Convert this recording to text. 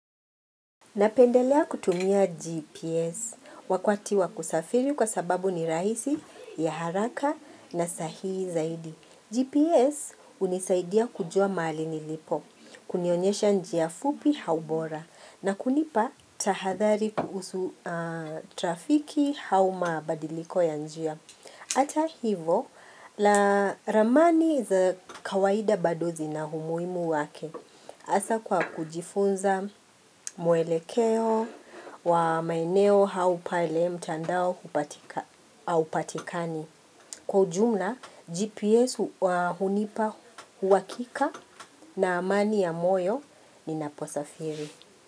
Napendelea kutumia GPS wakwati wa kusafiri kwa sababu ni rahisi, ya haraka na sahihi zaidi. GPS unisaidia kujua mali nilipo, kunionyesha njia fupi hau bora na kunipa tahadhali kuusu trafiki hau mabadiliko ya njia. Ata hivo, la ramani za kawaida badozi na humuimu wake. Asa kwa kujifunza mwelekeo wa maeneo hau pale mtandao hupatika haupatikani. Kwa jumla, GPS hunipa huwakika na amani ya moyo ninaposafiri.